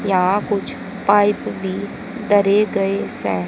यहां कुछ पाइप भी धरे गए से।